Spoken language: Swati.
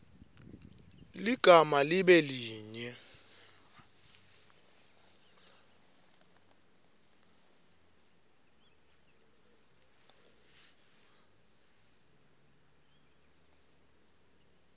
ligama libe linye